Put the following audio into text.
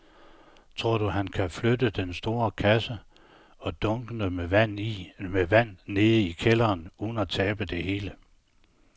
Tror du, at han kan flytte den store kasse og dunkene med vand ned i kælderen uden at tabe det hele?